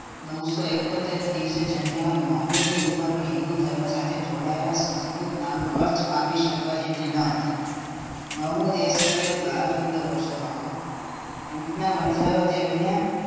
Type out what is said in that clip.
નવ સો અકોતર ના દિવસે જન્મેલા મહંમદ ની ઉંમર હિન્દુધર્મ સાથે જોડાયેલા સંસ્કૃત નામનો અર્થ પામી શકે જેટલી ન હતી મહંમદ એ સમય બાર પંદર વર્ષનો હતો ઊંટ ના વણજારો તેમને